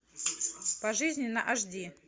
пожизненно аш ди